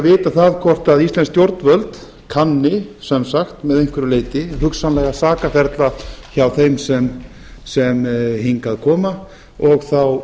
vita það hvort íslensk stjórnvöld kanni sem sagt að einhverju leyti hugsanlega sakaferil hjá þeim sem hingað koma og þá